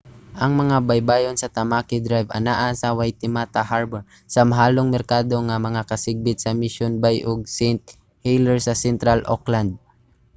ang mga baybayon sa tamaki drive anaa sa waitemata harbour sa mahalong merkado nga mga kasikbit sa mission bay ug st heliers sa central auckland